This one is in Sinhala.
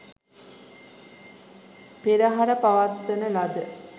පෙරහර පවත්වන ලද